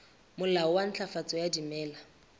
molao wa ntlafatso ya dimela